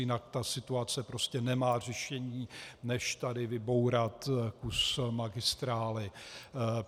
Jinak ta situace prostě nemá řešení, než tady vybourat kus magistrály.